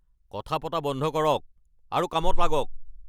কথা পতা বন্ধ কৰক আৰু কামত লাগক!